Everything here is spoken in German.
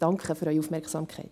Danke für Ihre Aufmerksamkeit.